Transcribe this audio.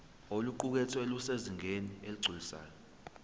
oluqukethwe lusezingeni eligculisayo